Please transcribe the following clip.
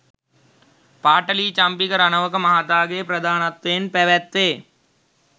පාඨලී චම්පික රණවක මහතාගේ ප්‍රධානත්වයෙන් පැවැත්වේ